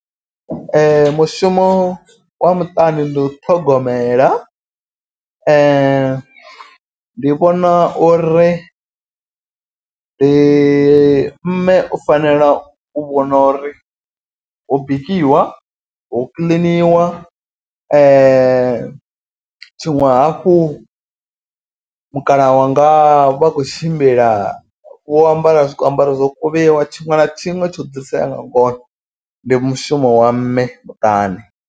Mushumo wa muṱani ndi u ṱhogomela. Ndi vhona uri ndi mme u fanela u vhona uri ho bikiwa. Ho kiḽiniwa tshiṅwe hafhu mukalaha wanga vha khou tshimbila vho ambara zwi ambaro zwo kuvhiwa. Tshiṅwe na tshiṅwe tsho dzulisea nga ngona ndi mushumo wa mme muṱani.